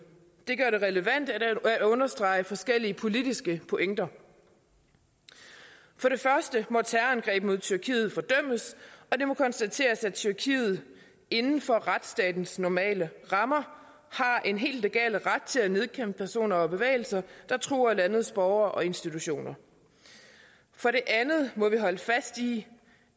det gør det relevant at understrege forskellige politiske pointer for det første må terrorangreb mod tyrkiet fordømmes og det må konstateres at tyrkiet inden for retsstatens normale rammer har en hel legal ret til at nedkæmpe personer og bevægelser der truer landets borgere og institutioner for det andet må vi holde fast i